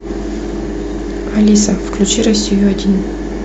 алиса включи россию один